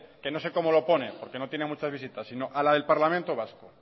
que no sé cómo lo pone porque no tiene muchas visitas sino